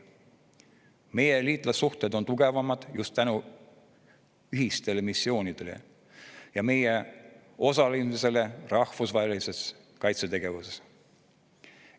Meie liitlassuhted on tugevamad just tänu ühistele missioonidele ja meie osalemisele rahvusvahelises kaitsetegevuses.